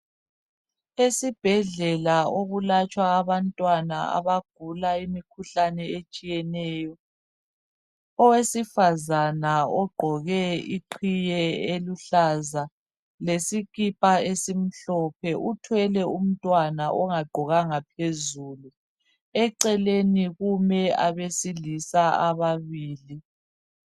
Esibhedlela okulatshwa abantwana abagula imikhuhlane etshiyeneyo. Oesifazane ogqoke iqhiye eluhlaza lesikipa esimhlophe uthwele umntwana ongagqokanga phezulu. Eceleni kume abesilisa ababili.